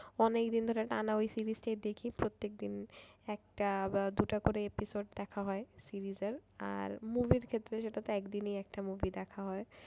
অনেকদিন ধরে টানা ওই series টাই দেখি প্রত্যেকদিন একটা বা দুটা করে episode দেখা হয় series এর আর movie র ক্ষেত্রে সেটা তো একদিনেই একটা movie দেখা হয়।